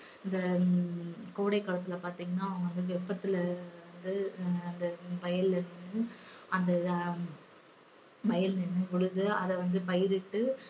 இந்த ஹம் கோடை காலத்துல பாத்தீங்கன்னா அவங்க வந்து வெப்பத்துல இருந்து ஆஹ் அந்த வயல்ல நின்னு அந்த ஆஹ் வயல்ல நின்னு உழுது அத வந்து பயிரிட்டு